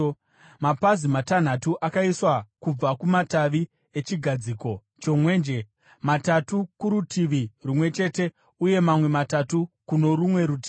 Mapazi matanhatu akaiswa kubva kumativi echigadziko chomwenje, matatu kurutivi rumwe chete uye mamwe matatu kuno rumwe rutivi.